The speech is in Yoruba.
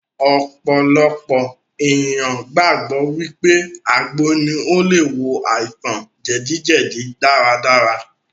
Ọ̀pọ̀lọpọ̀ ènìyàn gbàgbọ́ wípé àgbo ní o le wo àìsàn jẹdíjẹdí dáradára.